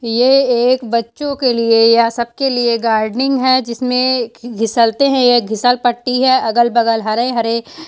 ये एक बच्चों के लिए या सब के लिए गार्डनिंग हैं जिसमे घिसलते हैं ये घिसल पत्ती है अगल बगल हरे-हरे --